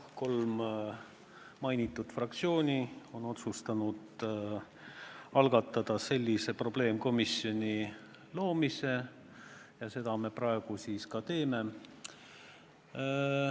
Jah, kolm nimetatud fraktsiooni on otsustanud algatada sellise probleemkomisjoni loomise ja seda me praegu siis ka teeme.